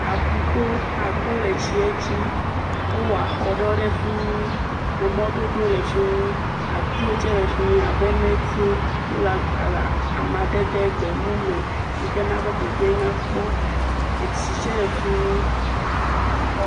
Aƒuto. Akro le etsia dzi. Wowɔ exɔ ɖewo ɖe fi mi. Emɔdodo le fi mi. Atiwo tse le fi ma abe; netsiwo. Wole amadede gbemu me si ke na be teƒea nyakpɔ. Etsi tse le fi mi.